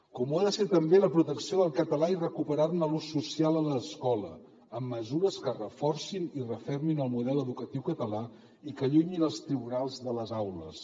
com ho ha de ser també la protecció del català i recuperar ne l’ús social a l’escola amb mesures que reforcin i refermin el model educatiu català i que allunyin els tribunals de les aules